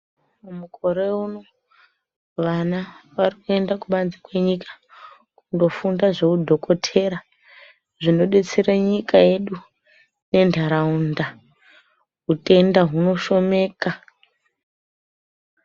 Mukore uno vana varikuenda kubanze kwenyika kundofunda zvehudhokotera zvinodetsera nyika yedu nendaraunda hutenda hunoshomeka.